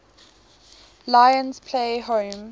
lions play home